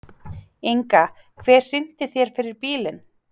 Inga: Hver hrinti þér fyrir bílinn?